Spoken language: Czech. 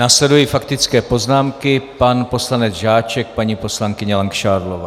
Následují faktické poznámky - pan poslanec Žáček, paní poslankyně Langšádlová.